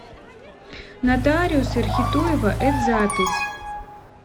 нотариус эрхитуева эд запись